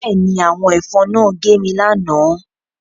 Bẹ́ẹ̀ ni, àwọn ẹ̀fọn náà gé mi lánàá